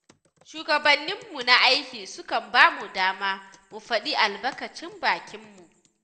Shugabanninmu na aiki sukan ba mu dama, mu faɗi albakacin bakinmu.